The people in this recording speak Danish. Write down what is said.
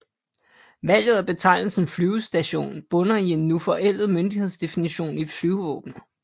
Valget af betegnelsen flyvestation bunder i en nu forældet myndighedsdefinition i Flyvevåbnet